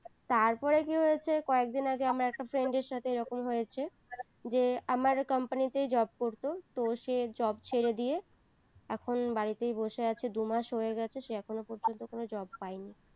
তারপরে কী হয়েছে কয়েকদিন আগে আমার একটা friend এর সাথে এরকম হয়েছে যে আমার company তে job করতো তো সে job দিয়ে এখন বাড়িতেই বসে আছে দুই মাস হয়ে গেছে সে এখনো পর্যন্ত কোনো job পাইনি